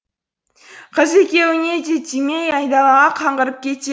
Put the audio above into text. қыз екеуіне де тимей айдалаға қаңғырып кетеді